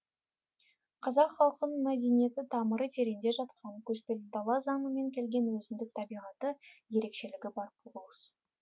қазақ халқының мәдениеті тамыры тереңде жатқан көшпелі дала заңымен келген өзіндік табиғаты ерекшелігі бар құбылыс